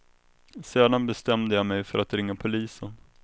Sedan bestämde jag mig för att ringa polisen.